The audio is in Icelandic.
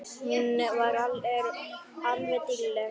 Hún er alveg dýrleg!